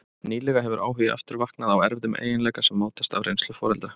Nýlega hefur áhugi aftur vaknað á erfðum eiginleika sem mótast af reynslu foreldra.